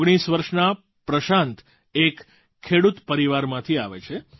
19 વર્ષના પ્રશાંત એક ખેડૂત પરિવારમાંથી આવે છે